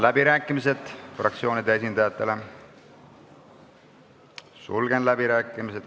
Avan fraktsioonide esindajate läbirääkimised.